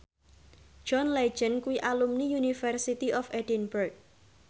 John Legend kuwi alumni University of Edinburgh